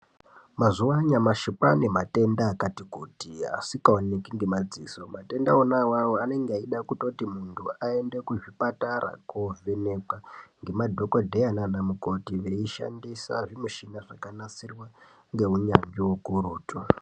Mazuwa anyamashi kwaanematenda akati kuti asikaoneki ngemadziso. Matenda ona awawo anenge eida kutoti muntu aende kuzvipatara koovhenekwa ngemadhogodheya naana mukoti eishandisa zvmichinai zvakanasirwa neunyanzvi hukurutu.